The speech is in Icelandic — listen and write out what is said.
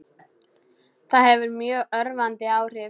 Það hefur mjög örvandi áhrif.